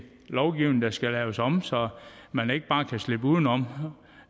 lovgivningen der skal laves om så man ikke bare kan slippe udenom